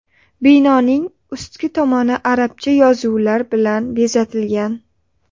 Binoning ustki tomoni arabcha yozuvlar bilan bezatilgan.